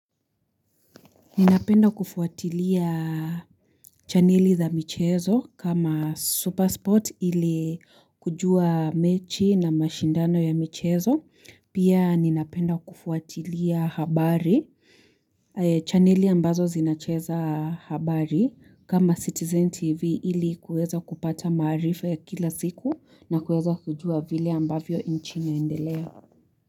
Ninapenda kufuatilia chaneli za michezo kama Supersport ili kujua mechi na mashindano ya michezo, pia ninapenda kufuatilia habari, chaneli ambazo zinacheza habari, kama Citizen TV ili kuweza kupata maarifa ya kila siku na kueza kujua vile ambavyo nchi inaendelea.